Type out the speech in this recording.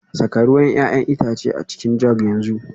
Saka ruwan 'ya'yan itace a cikin jug yanzu